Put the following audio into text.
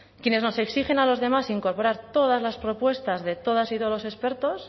quienes nos exigen a los demás incorporar todas las propuestas de todas y todos los expertos